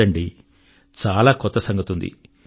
కాదండీ చాలా కొత్త సంగతుంది